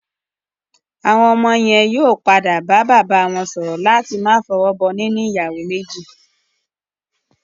Àwọn ọmọ yẹn yóò padà bá bàbá wọ́n sọ̀rọ̀ láti máa fọwọ́ bọ níní ìyàwó méjì